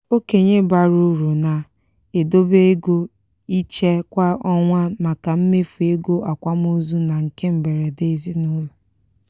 okenye bara uru na-edobe ego iche kwa ọnwa maka mmefu ego akwamozu na nke mberede ezinụlọ